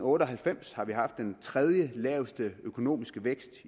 otte og halvfems haft den tredjelaveste økonomiske vækst